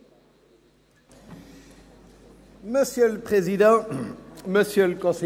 ] beantragt der Regierungsrat dem Grossen Rat, von beiden Berichten Kenntnis zu nehmen.